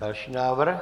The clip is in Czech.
Další návrh.